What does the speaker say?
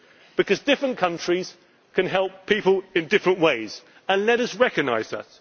a solution, because different countries can help people in different ways let us recognise